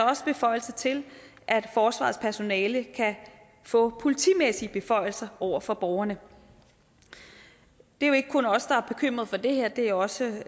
også beføjelser til at forsvarets personale kan få politimæssige beføjelser over for borgerne det er jo ikke kun os der er bekymret for det her det er også